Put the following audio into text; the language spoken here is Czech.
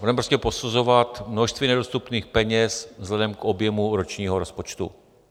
budeme prostě posuzovat množství nedostupných peněz vzhledem k objemu ročního rozpočtu.